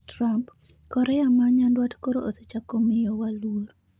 Trump: Korea ma nyandwat koro osechako miyowa luor